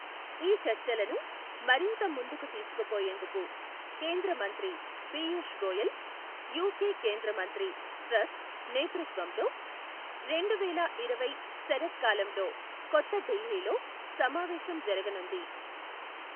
ఈ చర్చలను మరింత ముందుకు తీసుకుపోయేందుకు, కేంద్ర మంత్రి పియూష్ గోయల్, యుకె కేంద్ర మంత్రి ట్రస్ నేతృత్వంలో రెండు వేల ఇరవై శరత్కాలంలో కొత్త ఢిల్లీలో సమావేశం జరగనుంది.